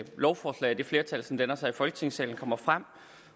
lovforslag og det flertal som danner sig i folketingssalen kommer frem